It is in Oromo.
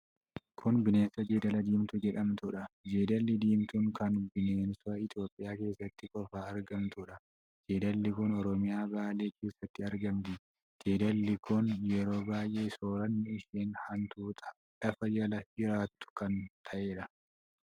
Kun bineensa Jeedala Deemtuu jedhamtuudha. Jeedalli Diimtuun kun bineensa Itoophiyaa keessatti qofa argamtuudha. Jeedalli kun Oromiyaa Baale keessatti argamti. Jeedalli kun yeroo baay'ee sooranni ishee hantuuta lafa jala jiraattu kan ta'edha.